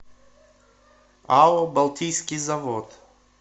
ао балтийский завод